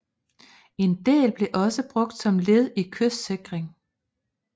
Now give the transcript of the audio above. En del blev også brugt som led i kystsikring